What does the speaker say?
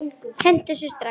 Hentu þessu strax!